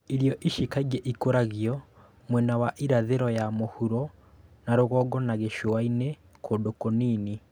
Irio ici kaingĩ ikũragio mwena wa irathĩro ya mũhuro na rũgongo na gĩcũa-inĩ kũndũ kũnini